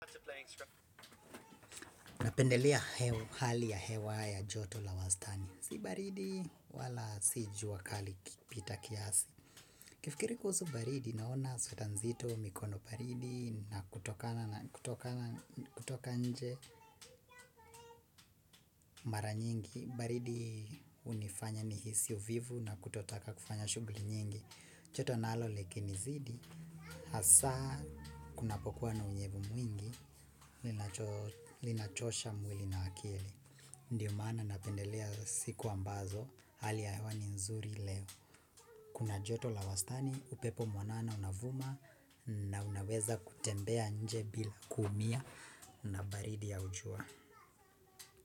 Napendelea hali ya hewa ya joto la wastani. Sibaridi wala sijuwa kali kipita kiasi. Ikifikiri kuhuzu baridi naona sueta nzito mikono baridi na kutoka nje mara nyingi. Baridi unifanya nihisi uvivu na kutotaka kufanya shuguli nyingi. Choto nalo likinizidi. Hasa kuna pokuwa na unyevu mwingi linachosha mwili na akili. Ndiyo mana napendelea siku ambazo hali ya yewa ni nzuri leo. Kuna joto la wastani upepo mwanana unavuma na unaweza kutembea nje bila kumia na baridi au jua.